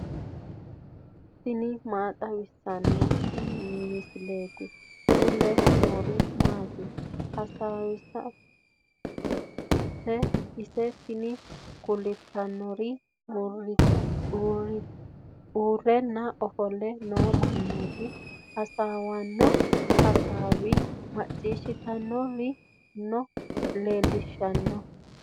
tini maa xawissanno misileeti ? mulese noori maati ? hiissinannite ise ? tini kultannori uurrenna ofolle noo mannaati. hasaawissanninna hasaawa maciishshitanni noore leellishshanno.